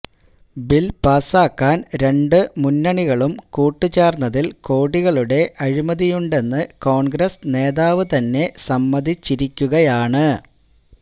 bill പാസാക്കാൻ രണ്ടു മുന്നണികളും കൂട്ടുചേർന്നതിൽ കോടികളുടെ അഴിമതിയുണ്ടെന്നു കോൺഗ്രസ് നേതാവ് തന്നെ സമ്മതിച്ചിരിക്കുകയാണ്